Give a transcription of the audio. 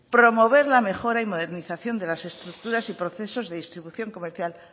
promover la mejora y modernización de las estructuras y procesos de distribución comercial